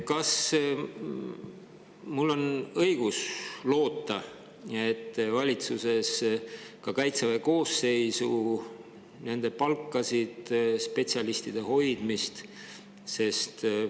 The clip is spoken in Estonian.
Kas mul on loota, et valitsuses ka Kaitseväe koosseisule, palkadele, spetsialistide hoidmisele?